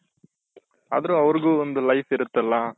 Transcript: ಅದ್ರು ಅವ್ರುಗು ಒಂದ್ life ಇರುತ್ತಲ್ಲಾ